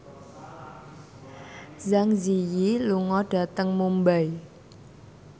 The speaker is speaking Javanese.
Zang Zi Yi lunga dhateng Mumbai